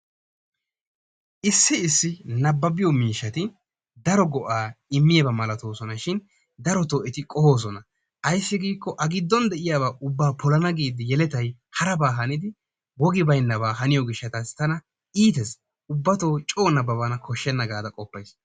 Issi issi nabbabbiyo miishshati daro go'aa immiyaba malatoosonashin darottoo etti qohosona. Ayssi giikko a giddon de'iyaba ubba polana giidi yelettay haraba hanidi wogi baynnabaa haniyo gishshatassi tana iittees ubbatto coo nababana koshsheena gaada qoofays.